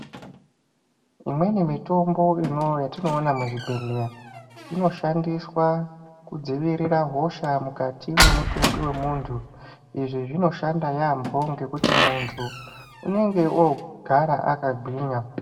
Imweni mitombo yetinoona muzvibhehlera inoshandiswa kudzivirira hosha mukati memutumbi vemuntu. lzvi zvinoshanda yampho ngendaa yekuti muntu unenge ogara akagwinya.